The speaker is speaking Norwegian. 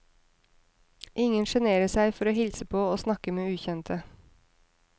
Ingen sjenerer seg for å hilse på og snakke med ukjente.